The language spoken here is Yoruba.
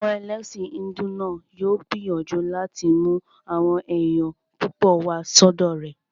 Àwọn ẹlẹ́sìn hídù náà yóò gbìyànjú láti mú àwọn èèyàn púpọ̀ wá sọ́dọ̀ rẹ̀